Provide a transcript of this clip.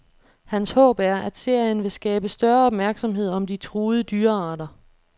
Hans håb er, at serien vil skabe større opmærksomhed om de truede dyrearter.